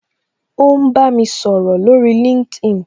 O ń bá mi sọ̀rọ̀ lórí LinkedIn